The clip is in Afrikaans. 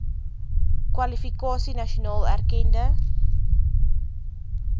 kwalifikasie nasionaal erkende